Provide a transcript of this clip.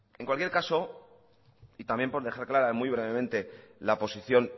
en cualquier caso y también por dejar clara muy brevemente la posición